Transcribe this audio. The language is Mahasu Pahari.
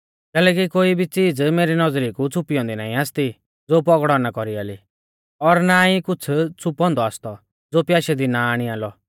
कैलैकि कोई भी च़ीज़ मेरी नौज़री कु छ़िपी औन्दी ना आसती ज़ो पौगड़ौ ना कौरियाली और ना ई कुछ़ छ़ुपौंदौ आसतौ ज़ो प्याशै दी ना आणियालौ